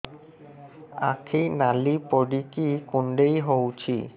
ଆଖି ନାଲି ପଡିକି କୁଣ୍ଡେଇ ହଉଛି